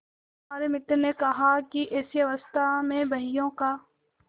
हमारे मित्र ने कहा कि ऐसी अवस्था में बहियों का